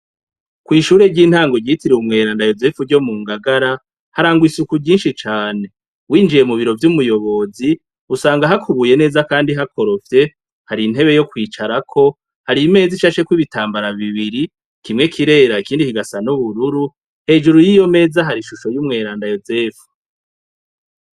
Kwishure ryintango ryitiriwe umweranda yozefu ryo mu Ngagara harangwa isuku ryinshi cane winjiye mubiro vy'umuyobozi usanga hakubuye neza kandi hakorofye hari intebe yo kwicarako, hari meza ishasheko ibitambara bibiri kimwe kirera ikindi kigasa n'ubururu, hejuru yiyo meza hari ishusho y’umweranda yozefu.